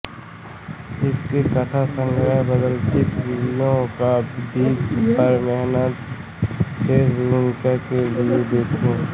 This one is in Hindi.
इनके कथासंग्रह बदचल बीवियों का द्वीप पर हेमंत शेष की भूमिका के लिए देखें